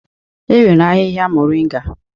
E nwere ahịhịa Moringa.